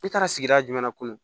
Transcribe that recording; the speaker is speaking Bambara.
I taara sigida jumɛn na kunu